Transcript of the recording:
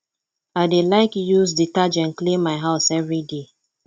i dey like to use detergent clean my house everyday